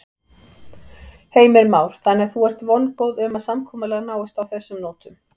Heimir Már: Þannig að þú ert vongóð um að samkomulag náist á þessum nótum?